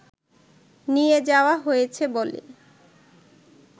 নিয়ে যাওয়া হয়েছে বলে